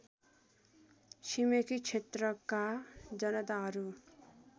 छिमेकी क्षेत्रका जनताहरू